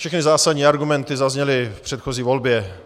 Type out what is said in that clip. Všechny zásadní argumenty zazněly v předchozí volbě.